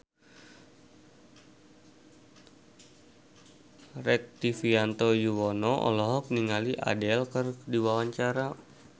Rektivianto Yoewono olohok ningali Adele keur diwawancara